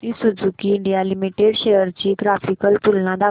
Maruti Suzuki India Limited shares ची graphical तुलना दाखव